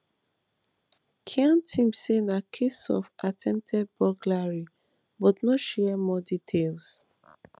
khan team say na case of attempted burglary but no share more details